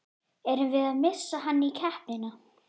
Erum við að missa hann í keppnina?